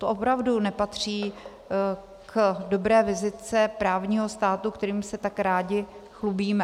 To opravdu nepatří k dobré vizitce právního státu, kterým se tak rádi chlubíme.